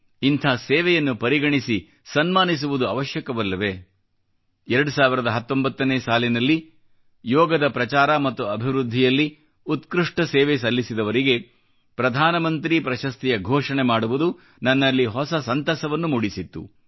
ಇಂಥ ಸೇವೆಯನ್ನು ಪರಿಗಣಿಸಿ ಸನ್ಮಾನಿಸುವುದು ಅವಶ್ಯಕವಲ್ಲವೇ 2019 ನೇ ಸಾಲಿನಲ್ಲಿ ಯೋಗದ ಪ್ರಚಾರ ಮತ್ತು ಅಭಿವೃದ್ಧಿಯಲ್ಲಿ ಉತ್ಕøಷ್ಟ ಸೇವೆ ಸಲ್ಲಿಸಿದವರಿಗೆ ಪ್ರಧಾನ ಮಂತ್ರಿ ಪ್ರಶಸ್ತಿಯ ಘೋಷಣೆ ಮಾಡುವುದು ನನ್ನಲ್ಲಿ ಹೊಸ ಸಂತಸವನ್ನು ಮೂಡಿಸಿತ್ತು